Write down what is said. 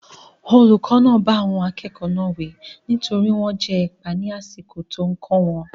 Olùkọ́ náà bá àwọn akẹ́kọ̀ọ́ náà wí nítorí wọ́n ń jẹ ẹ̀pà ní àsìkò tí ó ń kó wọn.